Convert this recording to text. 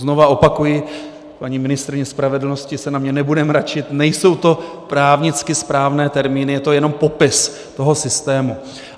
Znovu opakuji, paní ministryně spravedlnosti se na mě nebude mračit, nejsou to právnicky správné termíny, je to jenom popis toho systému.